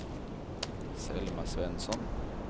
Selma Svensson